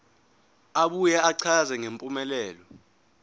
abuye achaze ngempumelelo